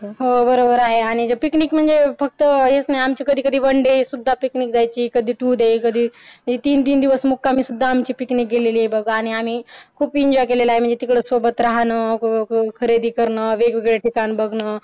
हो बरोबर आहे आणि picnic म्हणजे फक्तहेच वनडे सुद्धा picnic जायची कधी तू डे कधीते तीन तीन दिवस मुक्कामी सुद्धा picnic गेलेली आहे बघ आणि आम्ही बघा आणि पिंजाळ गेला आणि तिच्यासोबत राहणं मग खरेदी करणं वेगळं आणि मग